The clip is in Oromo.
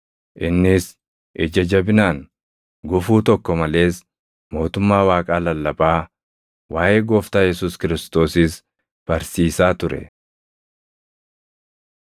Innis ija jabinaan, gufuu tokko malees mootummaa Waaqaa lallabaa, waaʼee Gooftaa Yesuus Kiristoosis barsiisaa ture.